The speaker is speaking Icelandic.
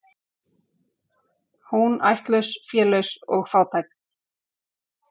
Hún ættlaus, félaus og fátæk.